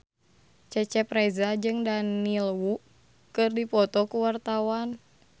Cecep Reza jeung Daniel Wu keur dipoto ku wartawan